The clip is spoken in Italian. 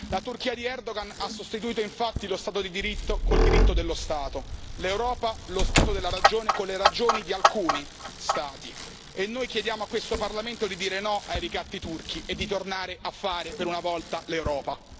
La Turchia di Erdogan ha sostituito infatti lo Stato di diritto con il diritto dello Stato, l'Europa lo Stato della ragione con le ragioni di alcuni Stati e noi chiediamo a questo Parlamento di dire no ai ricatti turchi e di tornare a fare per una volta l'Europa.